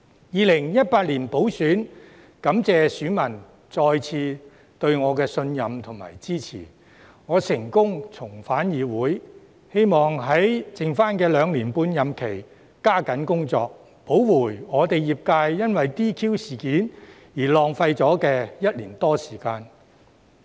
2018年補選，感謝選民再次對我的信任和支持，我成功重返議會，希望在餘下的兩年半任期加緊工作，補回我的業界因為 DQ 事件而浪費了的1年多時間。